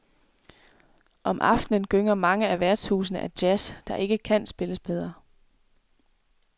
Om aftenen gynger mange af værtshusene af jazz, der ikke kan spilles bedre.